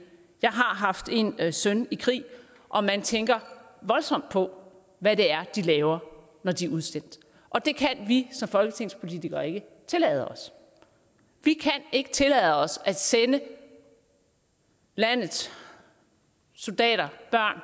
jeg har haft en søn i krig og man tænker voldsomt på hvad det er de laver når de er udsendt det kan vi som folketingspolitikere ikke tillade os vi kan ikke tillade os at sende landets soldater